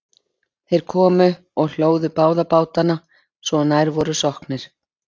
þeir komu og hlóðu báða bátana svo að nær voru sokknir